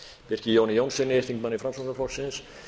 birki jóni jónssyni þingmanni framsóknarflokksins